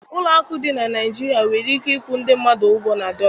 Ụlọ akụ dị na Nigeria nwere ike ịkwụ ndị mmadụ ụgwọ na dọla